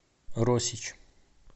росич